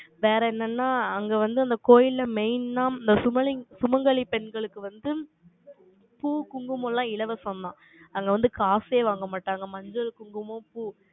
வேற என்னன்னா, அங்க வந்து, அந்த கோயில்ல, main ஆ, சுமங்கலி பெண்களுக்கு வந்து, பூ, குங்குமம் எல்லாம், இலவசம் தா. அங்க வந்து, காசே வாங்க மாட்டாங்க. மஞ்சள், குங்குமம், பூ.